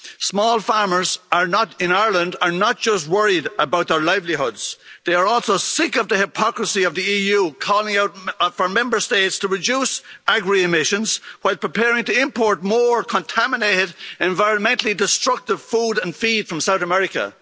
Small farmers in Ireland are not just worried about their livelihoods, they are also sick of the hypocrisy of the EU calling out for Member States to reduce agri emissions, while preparing to import more contaminated, environmentally destructive food and feed from South America.